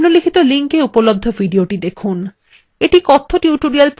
নিম্নলিখিত link উপলব্ধ videothe দেখুন